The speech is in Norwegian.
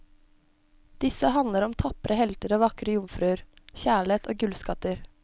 Disse handler om tapre helter og vakre jomfruer, kjærlighet, og gullskatter.